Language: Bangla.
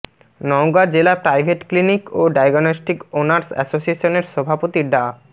নওগাঁ জেলা প্রাইভেট ক্লিনিক ও ডায়াগনস্টিক ওনার্স অ্যাসোসিয়েশনের সভাপতি ডা